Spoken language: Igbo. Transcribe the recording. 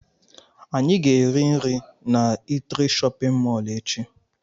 Anyị ga-eri nri na eatri shóppin mol echi.